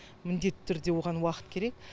міндетті түрде оған уақыт керек